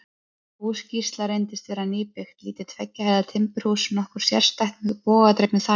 Hús Gísla reyndist vera nýbyggt, lítið tveggja hæða timburhús, nokkuð sérstætt, með bogadregnu þaki.